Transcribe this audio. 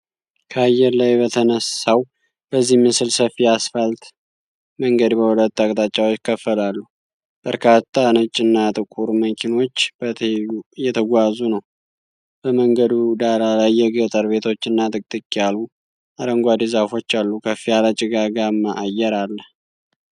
ከአየር ላይ በተነሳው በዚህ ምስል፣ ሰፊ አስፋልት መንገድ በሁለት አቅጣጫዎች ይከፈላል። በርካታ ነጭና ጥቁር መኪኖች በትይዩ እየተጓዙ ነው። በመንገዱ ዳር ላይ የገጠር ቤቶችና ጥቅጥቅ ያሉ አረንጓዴ ዛፎች አሉ። ከፍ ያለ ጭጋጋማ አየር አለ።